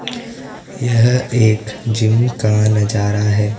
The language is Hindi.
यह एक जिम का नजारा हैं।